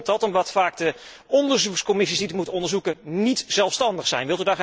Hoe komt dat? Omdat vaak de onderzoekscommissies die het moeten onderzoeken niet zelfstandig zijn.